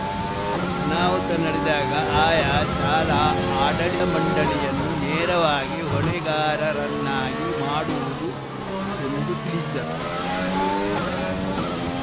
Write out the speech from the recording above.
ಅನಾಹುತ ನಡೆದಾಗ ಆಯಾ ಶಾಲಾ ಆಡಳಿ ಮಂಡಳಿಯನ್ನು ನೇರವಾಗಿ ಹೊಣೆಗಾರರನ್ನಾಗಿ ಮಾಡುವುದು ಎಂದು ತಿಳಿಸಿದರು